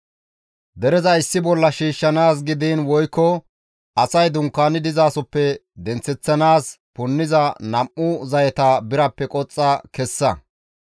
«Dereza issi bolla shiishshanaas gidiin woykko asay dunkaani dizasoppe denththeththanaas punniza nam7u zayeta birappe qoxxa kessa.